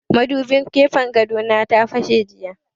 Madubin gefen gado na ta fashe jiya